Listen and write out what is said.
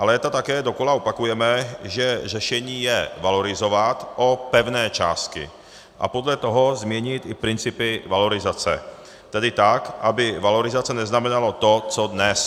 Ale léta také dokola opakujeme, že řešení je valorizovat o pevné částky a podle toho změnit i principy valorizace, tedy tak, aby valorizace neznamenalo to co dnes.